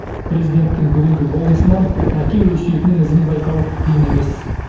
президенттің бүгінгі болмысынан әке өсиетінің ізін байқау қиын емес